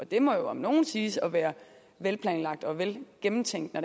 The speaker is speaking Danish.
det må jo om noget siges at være velplanlagt og velgennemtænkt når